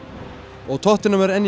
og tottenham er enn í